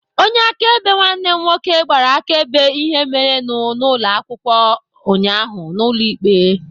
Onye akaebe nwanne m nwoke gbara akaebe ihe merenụ n'ụlọ akwụkwọ ụnyaahụ n'ụlọ ikpe.